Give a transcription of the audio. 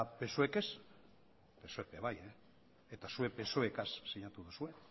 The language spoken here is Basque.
psoe k ez psoe k ere bai eta zuek psoe rekin sinatu duzue